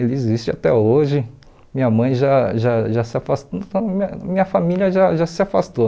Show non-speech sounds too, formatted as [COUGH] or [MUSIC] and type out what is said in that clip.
Ele existe até hoje, minha mãe já já já se afastou, [UNINTELLIGIBLE] minha minha família já já se afastou.